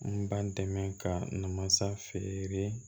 N ba dɛmɛ ka na masa feere